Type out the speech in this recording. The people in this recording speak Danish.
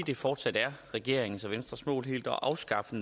det fortsat er regeringens og venstres mål helt at afskaffe